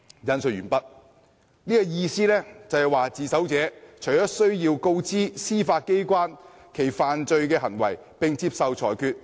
"意思便是自首者要告知司法機關其犯罪行為，並接受裁決。